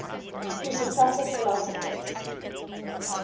presocratic philosophers